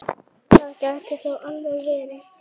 Það gæti þó alveg verið.